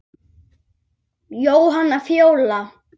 Jóhanna Fjóla.